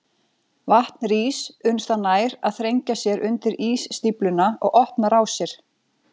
Vatn rís uns það nær að þrengja sér undir ísstífluna og opna rásir.